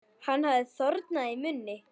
Hann hafði þornað í munni.